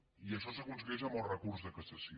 i això s’aconsegueix amb el recurs de cassació